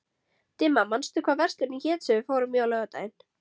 Dimma, manstu hvað verslunin hét sem við fórum í á laugardaginn?